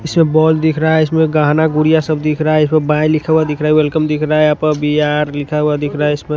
इसमें बॉल दिख रहा है इसमें गहना गुड़िया सब दिख रहा है इस पर बाय लिखा हुआ दिख रहा है वेलकम दिख रहा है यहां पर बिहार आर लिखा हुआ दिख रहा है इसमें--